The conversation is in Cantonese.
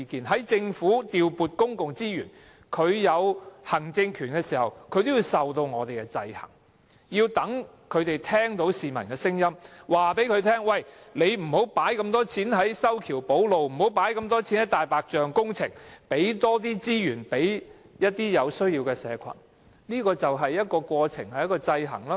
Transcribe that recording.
在政府調撥公共資源，行使行政權時，也要受到我們的制衡，令他們聽到市民的聲音，希望他們不要投放那麼多錢在修橋補路或"大白象"工程上，而要投放更多資源予有需要的社群，這便是一個制衡過程。